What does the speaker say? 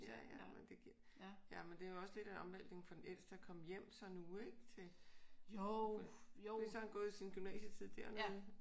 Ja ja men det giver. Jamen det er jo også lidt af en omvæltning for den ældste at komme hjem så nu ik? Til fordi så har han gået sin gymnasietid dernede